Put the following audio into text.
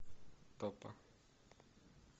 топа